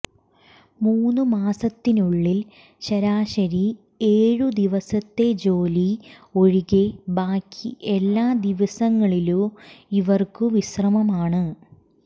മൂന്നു മാസത്തിനുള്ളിൽ ശരാശരി ഏഴു ദിവസത്തെ ജോലി ഒഴികെ ബാക്കി എല്ലാ ദിവസങ്ങളിലു ഇവർക്കു വിശ്രമമാണ്